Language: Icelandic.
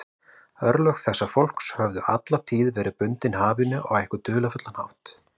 Örlög þessa fólks höfðu alla tíð verið bundin hafinu á einhvern dularfullan hátt.